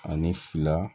Ani fila